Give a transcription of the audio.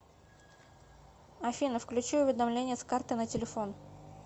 афина включи уведомления с карты на телефон